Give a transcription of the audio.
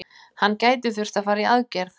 Hann gæti þurft að fara í aðgerð.